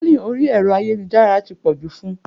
Trolling orí ẹ̀rọ ayélujára ti pọ̀ jù fún un.